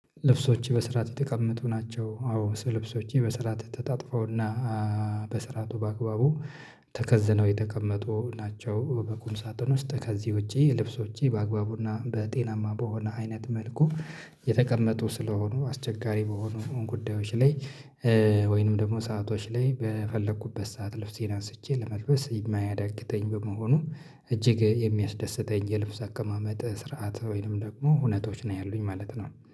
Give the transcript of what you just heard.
ልብሶች በስራአት የተቀመጡ ናቸው። አዎ ልብሶቼ በስራአት ተጣጥፈውና በስራቱ በአግባቡ ተከዝነው የተቀመጡ ናቸው። በቁም ሳጥን ውስጥ ከዚህ ውጪ ልብሶቼ በአግባቡና በጤናማ በሆነ አይነት መልኩ የተቀመጡ ስለሆኑ አስቸጋሪ በሆኑ ጉዳዮች ላይ ወይንም ደግሞ ሰአቶች ላይ በፈለኩበት ሰዓት ልብሴን አንስቼ ለመልበስ የማያዳግተኝ በመሆኑ። እጅግ የሚያስደስተኝ የልብስ አቀማመጥ ስርዓት ወይንም ደግሞ ሁነቶች ነው ያሉኝ ማለት ነው